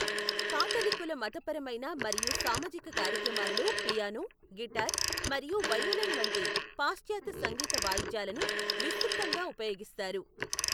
కాథలిక్కుల మతపరమైన మరియు సామాజిక కార్యక్రమాలలో పియానో, గిటార్ మరియు వయోలిన్ వంటి పాశ్చాత్య సంగీత వాయిద్యాలను విస్తృతంగా ఉపయోగిస్తారు.